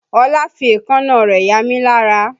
Ọlá fi èékánná rẹ̀ yamí lára